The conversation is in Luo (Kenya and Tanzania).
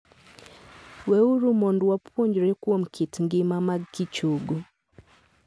Weuru mondo wapuonjre kuom kit ngima magkichogo.